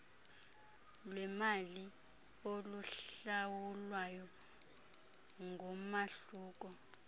lwemali oluhlawulwayo ngumahluko